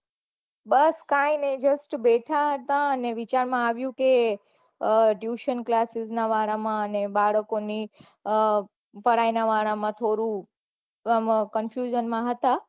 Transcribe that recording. બસ કાંઈ ની just બેઠા હતા ને વિચાર માં આવ્યું કે tuition classis ના વાળા માં અમે બાળકોની પઢાઈ વાળા માં થોડું confusion માં હતા